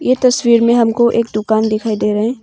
ये तस्वीर में हमको एक दुकान दिखाई दे रहा है।